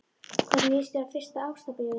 Hvernig leist þér á fyrsta ástarbréfið mitt?